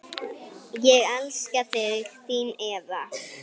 Ég elska þig, þín Eva.